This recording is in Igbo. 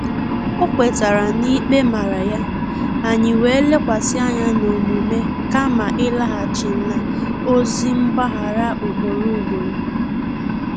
O kwetara na-ikpe mara ya, anyị wee lekwasị anya n’omume kama ịlaghachi n’ozị mgbaghara ugboro ugboro